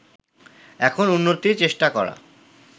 এখন উন্নতির চেষ্টা করা